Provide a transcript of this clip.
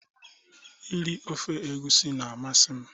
Iri ofe egusi na-amasị m